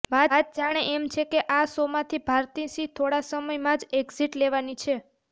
વાત જાણે એમ છે કે આ શોમાંથી ભારતી સિંહ થોડા સમયમાં જ એક્ઝીટ લેવાની છે